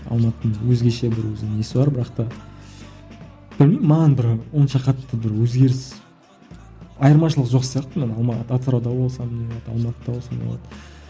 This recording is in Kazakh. алматының өзгеше бір өзінің несі бар бірақ та білмеймін маған бір онша қатты бір өзгеріс айырмашылық жоқ сияқты мен атырауда болсам не болады алматыда болсам не болады